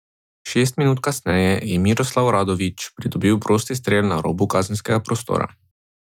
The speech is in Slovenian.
Šest minut kasneje je Miroslav Radović priboril prosti strel na robu kazenskega prostora.